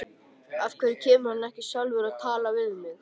Af hverju kemur hann ekki sjálfur og talar við mig?